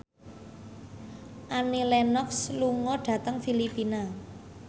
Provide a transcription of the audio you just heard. Annie Lenox lunga dhateng Filipina